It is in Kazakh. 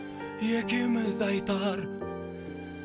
екеуміз айтар